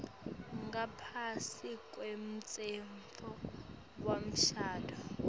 ngaphasi kwemtsetfo wemshado